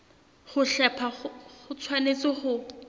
ho hlepha ho tshwanetse ho